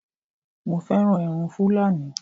Mo fẹ́ràn irun Fúlàní